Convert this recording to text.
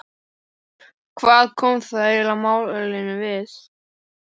Hvað koma það málinu eiginlega við?